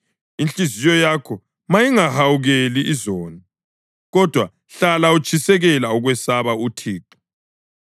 Inhliziyo yakho mayingahawukeli izoni, kodwa hlala utshisekela ukwesaba uThixo.